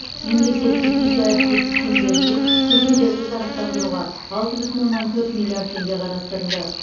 мемлекеттік жеке әріптестік шеңберінде көшелерді жарықтандыруға алты бүтін оннан төрт миллиард теңге қарастырылды